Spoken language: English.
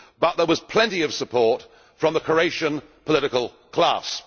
But there was plenty of support from the Croatian political class.